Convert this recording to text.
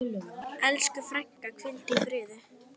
Elsku frænka, hvíldu í friði.